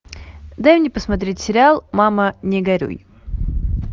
дай мне посмотреть сериал мама не горюй